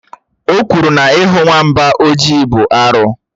Ò kwuru na ihù nwamba ọjị bụ arụ